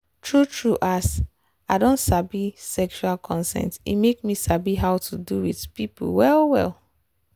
true true as i don sabi sexual consent e make me sabi how to do with people well well.